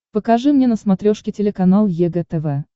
покажи мне на смотрешке телеканал егэ тв